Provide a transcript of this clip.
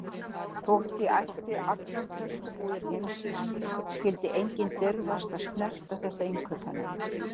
Þótt ég ætti allar töskubúðir heimsins skyldi enginn dirfast að snerta þetta innkaupanet.